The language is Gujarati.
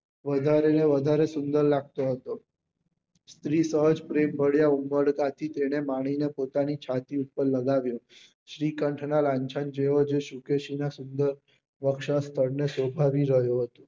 વધારે ને વધારે સુંદર લાગતો હતો ત્રીસ વર્ષ પ્રેમ પડ્યા ઉમબળતાથી તેને માની ને પોતાની છાતી પર લગાવ્યો શ્રીકાંત નાં લાંછન જેવો જો શુકેશી ના સુન્દે ને શોભાવી રહ્યો હતો